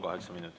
Kaheksa minutit.